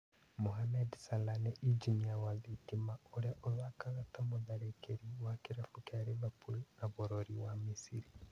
Mohamed Salah, nĩ injinia wa thitima ũrĩa ũthakaga ta mũtharĩkĩri wa kĩrabu kĩa Liverpool na bũrũri wa Misiri